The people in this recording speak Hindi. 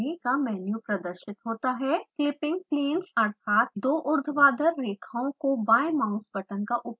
clipping planes अर्थात दो उर्ध्वाधर रेखाओं को बाएं माउस बटन का उपयोग करके चलायें